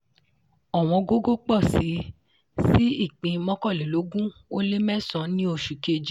ọ̀wọ́n gógó pọ̀ síi sí ipín mọ́kànlélógún o lé mẹ́san ní oṣù kejì.